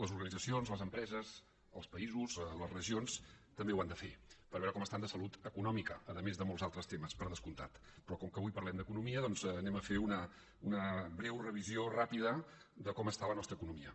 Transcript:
les organitzacions les empreses els països les regions també ho han de fer per veure com estan de salut econòmica a més de molts altres temes per descomptat però com que avui parlem d’economia doncs farem una breu revisió ràpida de com està la nostra economia